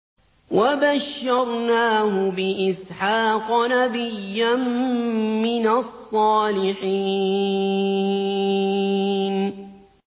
وَبَشَّرْنَاهُ بِإِسْحَاقَ نَبِيًّا مِّنَ الصَّالِحِينَ